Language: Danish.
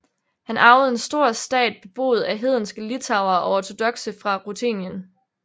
Han arvede en stor stat beboet af hedenske litauere og ortodokse fra Rutenien